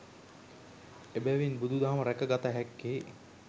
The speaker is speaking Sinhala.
එබැවින් බුදුදහම රැක ගත හැක්කේ